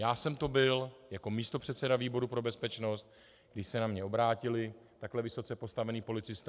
Já jsem to byl jako místopředseda výboru pro bezpečnost, když se na mě obrátili takhle vysoce postavení policisté.